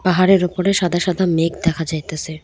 পাহাড়ের উপরে সাদা সাদা মেঘ দেখা যাইতাসে।